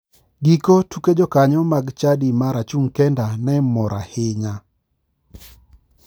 Giko tuke jokanyo mag chadi mar achung' kenda ne mor ahinya.